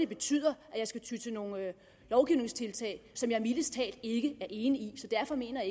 betyder at jeg skal ty til nogle lovgivningstiltag som jeg mildest talt ikke er enig i derfor mener